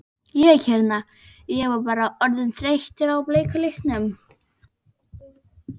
Ég hérna. ég var bara orðinn þreyttur á bleika litnum.